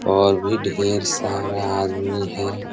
और भी ढेर सारा आदमी है|